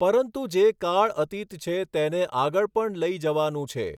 પરંતુ જે કાળ અતિત છે તેને આગળ પણ લઈ જવાનું છે.